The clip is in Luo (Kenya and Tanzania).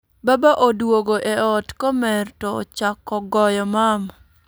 Baba duogo e ot komer to chako goyo mama